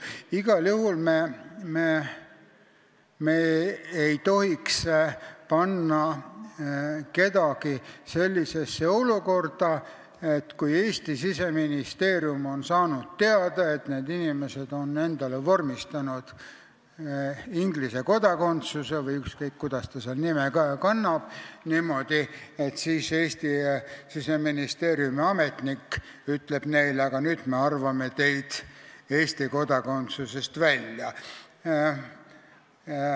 Igal juhul me ei tohiks kedagi panna sellisesse olukorda, kus selle peale, kui Eesti Siseministeerium on saanud teada, et inimene on endale vormistanud Inglise kodakondsuse – see on praegu ükskõik, mis nime ta kannab –, ütleb Eesti Siseministeeriumi ametnik, et nüüd me arvame teid Eesti kodakondsusest välja.